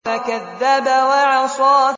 فَكَذَّبَ وَعَصَىٰ